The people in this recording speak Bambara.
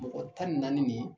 Mɔgɔ tan ni naani nin